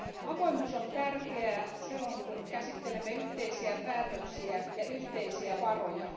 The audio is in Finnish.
Avoimuus on tärkeää silloin, kun käsittelemme yhteisiä päätöksiä ja yhteisiä varoja.